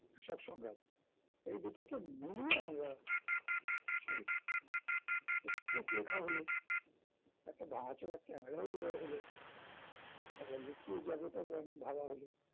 কৃষক সংগ্ৰাম এই দুটোকে মিলিয়ে আমরা ছবি করবো script লেখা হল একটা ভাঙাচোরা camera ও জোগাড় হলো আবার লুকিয়ে যাওয়াটাও এমন ভাবা হলো